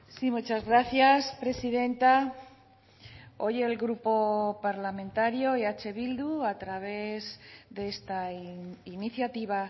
sí muchas gracias presidenta hoy el grupo parlamentario eh bildu a través de esta iniciativa